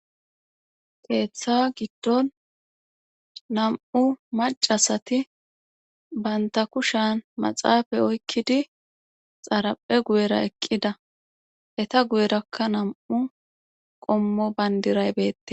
keeththa giddon nam7u macasati baynta kushan maxaafa oykkidi xaraphe guyera eqqida heta guyerakka nam7u qommo bayndiray beette